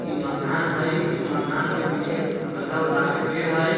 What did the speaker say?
ई मकान हई। ई मकान के पीछे बड़का गो तार के पेड़ हई।